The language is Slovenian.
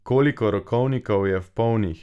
Koliko rokovnikov je polnih?